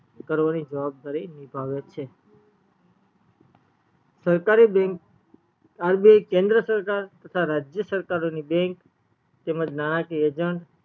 કરવાની જવાબદારી નિભાવે છે સરકારી bankrbi કેન્દ્ર સરકાર તથા રાજ્ય સરકારો ની bank તેમજ નાણાકીય agent